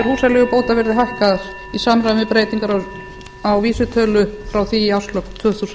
húsaleigubóta verði hækkaðar í samræmi við breytingar á vísitölu greiddrar húsaleigu frá því í árslok tvö þúsund